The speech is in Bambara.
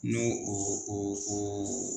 Ni o o o o